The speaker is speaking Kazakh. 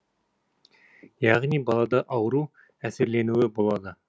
яғни балада ауру әсерленуі болады